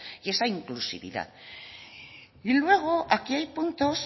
y esa inclusividad y luego aquí hay puntos